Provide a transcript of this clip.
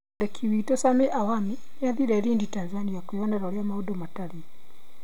Mwandĩki witũ Sammy Awami nĩ athiire Lindi, Tanzania kwĩyonera ũrĩa maũndũ matariĩ.